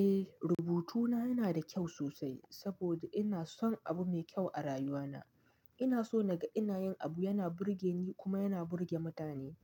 Eh, rubutuna yana da kyau sosai saboda ina son abu mai kyau a rayuwana. Ina so naga ina yin abu yana burge ni kuma yana burge mutane.